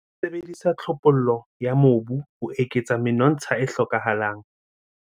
Sebedisa tlhophollo ya mobu ho eketsa menontsha e hlokahalang.